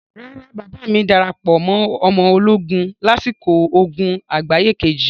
Rárá, bàbáà mi darapọ̀ mọ ọmọ ológun lásìkò ogun àgbáyé Kejì.